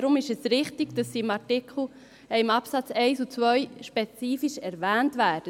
Daher ist es richtig, dass sie in den Absätzen 1 und 2 spezifisch erwähnt werden.